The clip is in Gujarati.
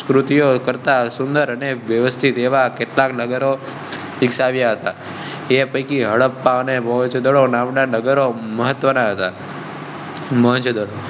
સંસ્કૃતિઓ કરતાં સુંદર અને વ્યવસ્થિત એવા કેટલાક નગર. એ પૈકી હડપ્પા અને મોહેં જો દડો નામના નગરનો મહત્વના તા. મોહેં જો દડો